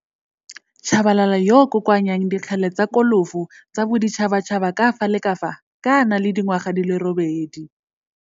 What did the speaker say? Tshabalala yoo o kokoanyang dikgele tsa kolofo tsa boditšhatšhaba ka fa la ka fa ka a na fela le dingwaga di le robedi.